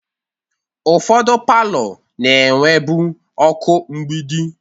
Ụfọdụ palọ na-enwebu ọkụ mgbidi.